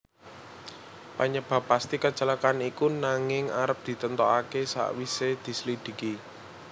Penyebab pasti kecelakaan iku nanging arep ditentokake sakwise dislidiki